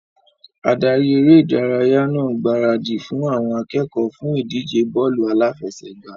Adarí eré ìdárayá ń gbaradì fún àwọn akẹ́kọ̀ọ́ fún ìdíje bọ́ọ́lù aláfẹsẹ̀gbá.